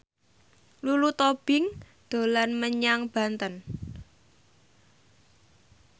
Lulu Tobing dolan menyang Banten